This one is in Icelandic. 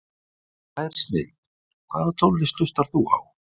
Tær snilld Hvaða tónlist hlustar þú á?